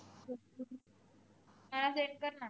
मला send कर ना